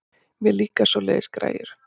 Mér líka svoleiðis gæjar.